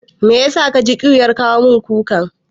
Mai yasa ka ji ƙyuyar kawo min kukar?